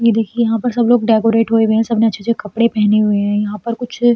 ये देखिये यहाँ पर सब लोग डेकोरेट हुए हुए हैं। सबने अच्छे-अच्छे कपड़े पहने हुए हैं। यहाँ पर कुछ --